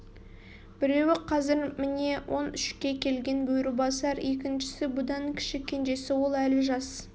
біреуі қазір міне он үшке келген бөрібасар екіншісі бұдан кіші кенжесі ол әлі жас